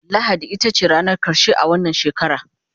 lahadi itace ranar karshe a wannan shekara